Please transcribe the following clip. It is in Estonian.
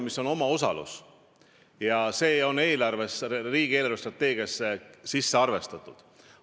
See on omaosalus ja see on riigi eelarvestrateegiasse sisse arvestatud.